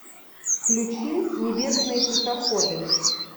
включи небесные тихоходы